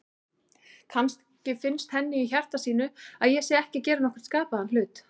Kannski finnst henni í hjarta sínu að ég sé ekki að gera nokkurn skapaðan hlut.